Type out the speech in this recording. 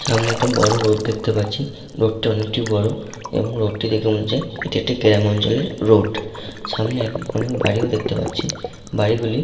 সামনে একটা বড় রোড দেখতে পাচ্ছি । রোড টা অনেকটিই বড় এবং রোড টি দেখে মনে হচ্ছে এটি একটি গ্রামাঞ্চলের রোড । সামনে এক অনেক বাড়ি ও দেখতে পাচ্ছি বাড়িগুলি --